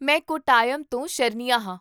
ਮੈਂ ਕੋਟਾਯਮ ਤੋਂ ਸ਼ਰਨਿਆ ਹਾਂ